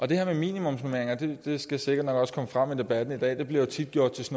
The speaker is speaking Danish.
det her med minimumsnormeringer skal sikkert nok også komme frem i debatten i dag det bliver tit gjort til